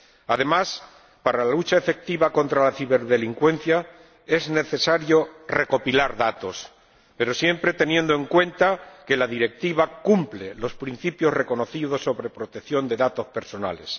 Además, para la lucha efectiva contra la ciberdelincuencia es necesario recopilar datos, pero siempre teniendo en cuenta que la Directiva cumple los principios reconocidos sobre protección de datos personales.